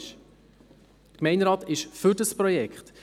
Der Gemeinderat ist für das Projekt.